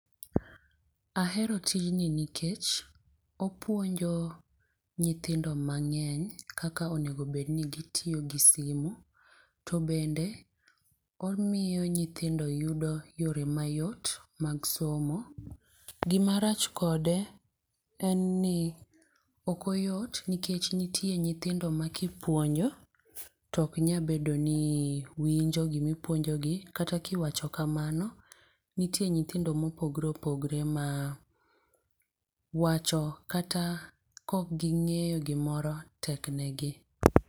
Ahero tijni nikech opuonjo nyithindo mang'eny kaka onego bed ni gitiyo gi simu. To bende omiyo nyithindo yudo yore mayot mag somo. Gima rach kode en ni ok oyot nikech nitie nyithindo ma kipuonjo to ok nya bedo ni winjo gima ipuonjogi. Kata ka iwacho kamano, nitie nyithindo ma opogore opogore ma wacho kata kokgi ng'eyo gimoro tek negi.